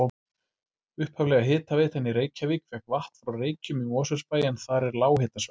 Upphaflega hitaveitan í Reykjavík fékk vatn frá Reykjum í Mosfellsbæ en þar er lághitasvæði.